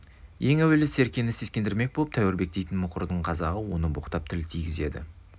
ең әуелі серкені сескендірмек боп тәуірбек дейтін мұқырдың қазағы оны боқтап тіл тигізеді